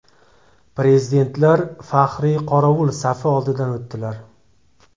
Prezidentlar faxriy qorovul safi oldidan o‘tdilar.